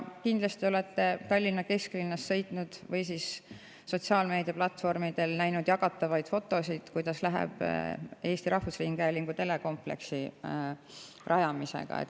Kindlasti olete Tallinna kesklinnas sõites näinud või näinud sotsiaalmeediaplatvormidel jagatavaid fotosid selle kohta, kuidas Eesti Rahvusringhäälingu telekompleksi rajamine.